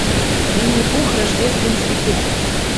винни пух рождественский пух